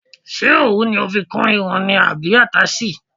Ṣé òwú ni o fi kún irun ni àbí àtáàsì.